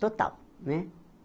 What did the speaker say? Total, né?